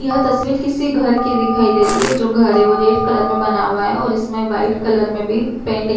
यह तस्वीर किसी घर की दिखाई दे रही है। जो घर है वो रेड कलर में बना हुआ है और इसमें व्हाइट कलर में भी पेंट --